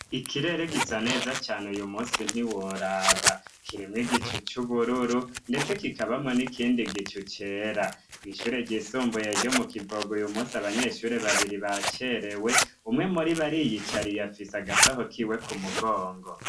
Ikirere gisa neza cane uyu munsi ntiworaba, kirimw igicu c'ubururu ndetse kikabamwe n'ikindi gicu cera ku ishure ry'isumbuye ryo mu kivoga uyu munsi abanyeshuri babiri bacerewe umwe muribo ariyicariye afise agasaho kiwe ku mugongo.